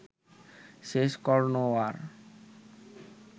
শেষ কর্ণও আর